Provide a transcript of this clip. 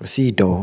Òṣì dan.